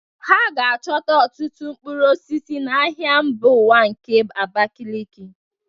Ha ga-achọta ọtụtụ mkpụrụ osisi n'ahịa mba ụwa nke Abakiliki